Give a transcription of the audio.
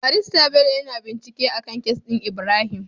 Barista Bello yAna bincike akan case din Ibrahim